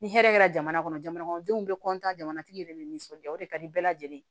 Ni hɛrɛ kɛra jamana kɔnɔ jamana kɔnɔdenw bɛ jamanatigi yɛrɛ nisɔndiya o de ka di bɛɛ lajɛlen ye